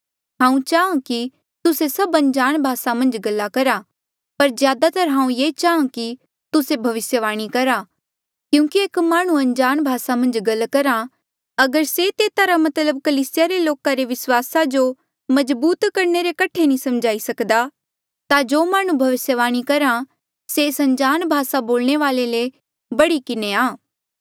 हांऊँ चाहां कि तुस्से सभ अनजाण भासा मन्झ गला करहा पर ज्यादातर हांऊँ ये चाहां कि तुस्से भविस्यवाणी करा क्यूंकि एक माह्णुं अनजाण भासा मन्झ गल करहा अगर से तेता रा मतलब कलीसिया रे लोको रे विस्वासा जो मजबूत करणे रे कठे नी समझाई सकदा ता जो माह्णुं भविस्यवाणी करहा से एस अनजाण भासा बोलणे वाले ले बढ़ी किन्हें आ